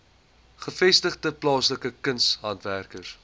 gevestigde plaaslike kunshandwerkers